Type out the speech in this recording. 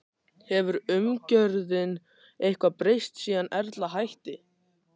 Hefur umgjörðin eitthvað breyst síðan Erla hætti?